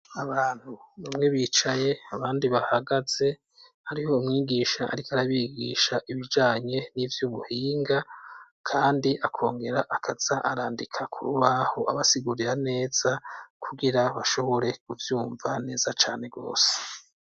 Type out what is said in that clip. Abantu bamwe bicaye abandi bahagaze hariho umwigisha ariko arabigisha ibijanye n'ivyubuhinga kandi akongera akaza arandika kurubaho abasigurira neza kugira bashobore kuvyumva neza cane gose.